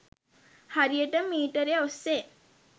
හරියටම මීටරය ඔස්සේ